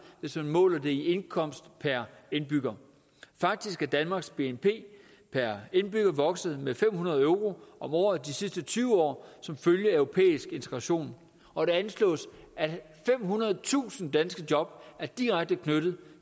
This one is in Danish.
hvis man måler det i indkomst per indbygger faktisk er danmarks bnp per indbygger vokset med fem hundrede euro om året de sidste tyve år som følge af europæisk integration og det anslås at femhundredetusind danske job er direkte knyttet